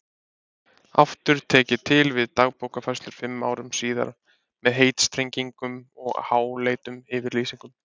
Aftur tek ég til við Dagbókarfærslur fimm árum síðar með heitstrengingum og háleitum yfirlýsingum.